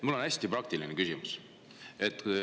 Mul on hästi praktiline küsimus.